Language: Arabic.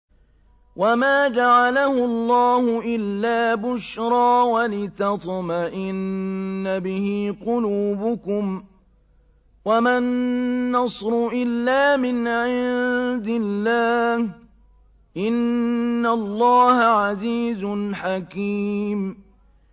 وَمَا جَعَلَهُ اللَّهُ إِلَّا بُشْرَىٰ وَلِتَطْمَئِنَّ بِهِ قُلُوبُكُمْ ۚ وَمَا النَّصْرُ إِلَّا مِنْ عِندِ اللَّهِ ۚ إِنَّ اللَّهَ عَزِيزٌ حَكِيمٌ